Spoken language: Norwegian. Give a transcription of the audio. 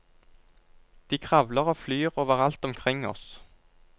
De kravler og flyr overalt omkring oss.